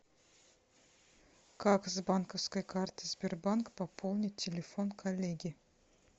как с банковской карты сбербанк пополнить телефон коллеги